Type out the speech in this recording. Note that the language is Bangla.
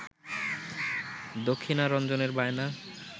দক্ষিণারঞ্জনের বায়না